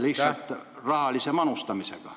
... lihtsalt rahalise panustamisega.